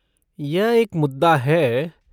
यह एक मुद्दा है।